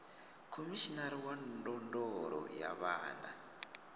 khomishinari wa ndondolo ya vhana